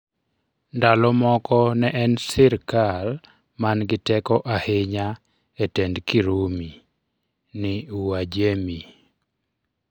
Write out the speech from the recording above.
Ndalo moko ne en sikral man gi teko ahinya e tend Kirumi ni Uajemi.